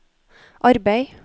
arbeid